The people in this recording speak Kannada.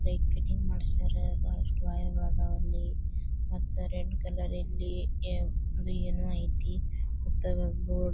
ಲೈಟ್ ಫೈಟಿಂಗ್ ಮಾಡ್ಸರ್ರ ಬಹಳಷ್ಟು ವೈರ್ ಇದಾವ ಅಲ್ಲಿ ಮತ್ತೆ ರೆಡ್ ಕಲರ್ ಏನೋ ಐತೆ ಒಂದ್ ಬೋರ್ಡ್ --